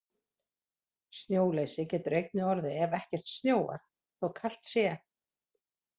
Snjóleysi getur einnig orðið ef ekkert snjóar, þó kalt sé.